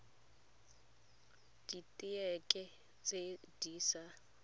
dit heke tse di sa